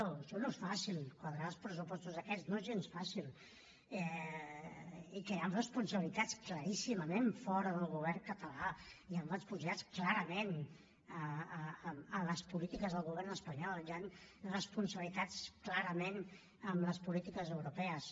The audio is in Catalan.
això no és fàcil quadrar els pressupostos aquests no és gens fàcil i que hi han responsabilitats claríssimament fora del govern català hi han responsabilitats clarament en les polítiques del govern espanyol hi han responsabilitats clarament en les polítiques europees